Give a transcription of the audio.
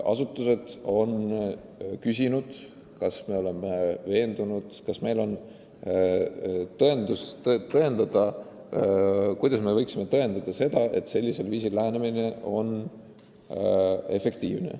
Asutused on küsinud eraelu puutumatuse riive õigustatuse kohta: kas me ikka oleme veendunud, et sellisel viisil lähenemine on efektiivne.